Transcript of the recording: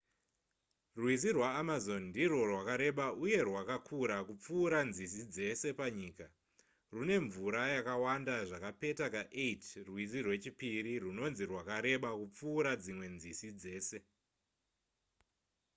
rwizi rwaamazon ndirwo rwakareba uye rwakakura kupfuura nzizi dzese panyika rwune mvura yakawanda zvakapeta ka8 rwizi rwechipiri rwunonzi rwakareba kupfuura dzimwe nzizi dzese